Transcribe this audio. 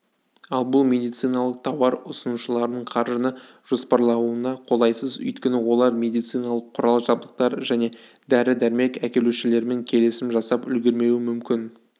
ал бұл медициналық тауар ұсынушылардың қаржыны жоспарлауына қолайсыз өйткені олар медициналық құрал-жабдықтар және дәрі-дәрмек әкелушілермен келісім жасап үлгермеуі мүмкін